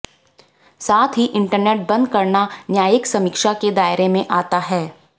साथ ही इंटरनेट बंद करना न्यायिक समीक्षा के दायरे में आता है